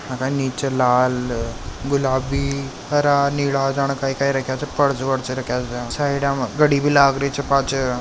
नीचे लाल गुलाबी हरा नीला जाने काई काई राख्या च --